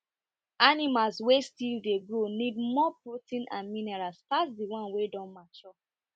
animals wey still dey grow need grow need more protein and minerals pass the ones wey don mature